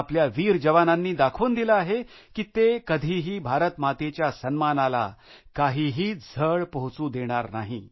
आपल्या वीर जवानांनी दाखवून दिले आहे की ते कधीही भारतमातेच्या सन्मानाला काहीही झळ पोहचू देणार नाहीत